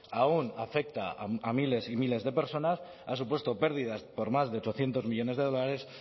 aun afecta a miles y miles de personas ha supuesto pérdidas por más de ochocientos millónes de dólares